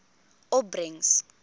opbrengs